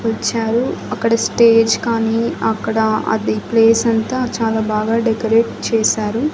వచ్చారు అక్కడ స్టేజ్ కానీ అక్కడ అది ప్లేసంతా చాలా బాగా డెకరేట్ చేశారు.